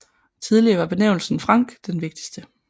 Tidligere var benævnelsen franc den vigtigste